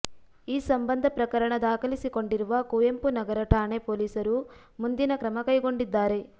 ಈ ಸಂಬಂಧ ಪ್ರಕರಣ ದಾಖಲಿಸಿಕೊಂಡಿರುವ ಕುವೆಂಪುನಗರ ಠಾಣೆ ಪೊಲೀಸರು ಮುಂದಿನ ಕ್ರಮ ಕೈಗೊಂಡಿದ್ದಾರೆ